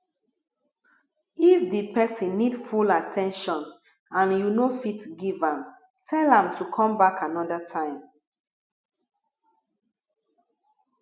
if di person need full at ten tion and you no fit give am tell am to come back anoda time